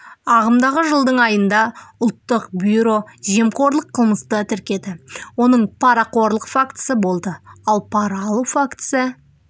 ағымдағы жылдың айында ұлттық бюро жемқорлық қылмысты тіркеді оның парақорлық фактісі болды ал пара алу фактісі